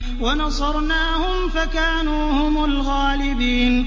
وَنَصَرْنَاهُمْ فَكَانُوا هُمُ الْغَالِبِينَ